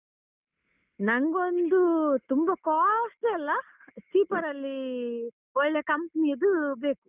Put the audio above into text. ನಂಗೊಂದು ತುಂಬ costly ಅಲ್ಲ cheaper ಅಲ್ಲಿ ಒಳ್ಳೇ company ಯದ್ದು ಬೇಕು.